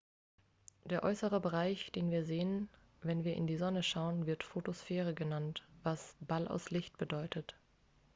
"der äußere bereich den wir sehen wenn wir in die sonne schauen wird photosphäre genannt was "ball aus licht" bedeutet.